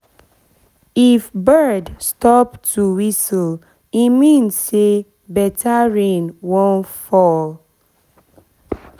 if bird stop to whistle e mean say better rain wan fall